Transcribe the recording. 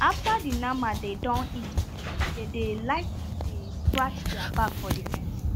after the nama dem don eat finish dey dey like to dey scratch their back for the fence